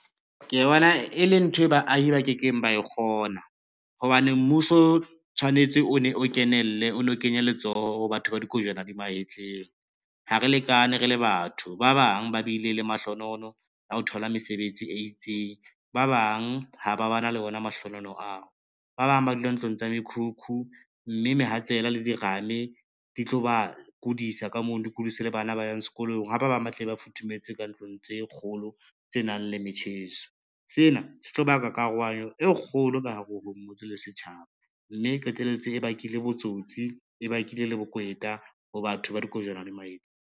Ke bona e le nthwe baahi ba kekeng ba kgona, hobane mmuso o tshwanetse o ne o kenelle o lo kenya letsoho ho batho ba dikojwana di mahetleng. Ha re lekane re le batho ba bang ba bile le mahlonolo ya ho thola mesebetsi e itseng, ba bang ha ba ba na le ona mahlohonolo ao. Ba bang ba dula ntlong tsa mekhukhu, mme mehatsela le dirame di tlo ba kodisa ka mono di kudise le bana ba yang sekolong, ha ba bang ba tle ba futhumetse ka ntlong tse kgolo tse nang le metjheso. Sena se tlo baka karohanyo e kgolo ka hare ho motse le setjhaba, mme qetelletse e bakile botsotsi, e bakile le bokweta ho batho ba dikojwana di mahetleng.